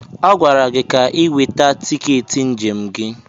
A gwara gị ka ị nweta tiketi njem gị!